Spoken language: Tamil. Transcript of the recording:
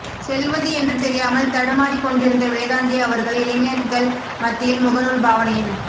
செல்வது என்று தெரியாமல் தடுமாறிக்கொண்டிருந்த வேதாந்தி அவர்கள் இளைஞ்சர்கள் மத்தியில் முகநூல் பாவனையின்